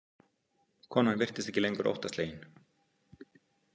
Konan virtist ekki lengur óttaslegin.